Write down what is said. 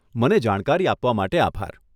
મને જાણકારી આપવા માટે આભાર.